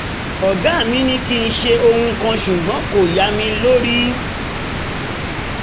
ọ̀gá mi ní kí n ṣètò ohun kan ṣùgbọ́n kò yá mi lórí